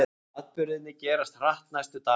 Atburðirnir gerast hratt næstu daga.